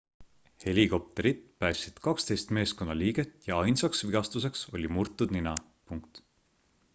helikopterid päästsid 12 meeskonnaliiget ja ainsaks vigastuseks oli murtud nina